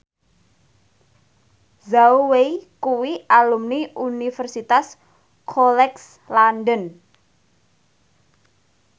Zhao Wei kuwi alumni Universitas College London